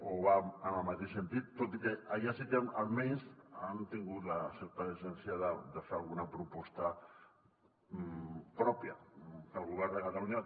o va en el mateix sentit tot i que allà sí que almenys han tingut certa decència de fer alguna proposta pròpia que el govern de catalunya